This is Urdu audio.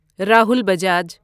راہل بجاج